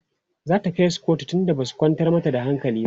zata kaisu kotu tunda Basu kwantar mata da hankali ba?